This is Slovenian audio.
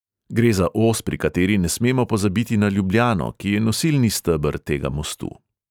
Gre za os, pri kateri ne smemo pozabiti na ljubljano, ki je nosilni steber tega mostu.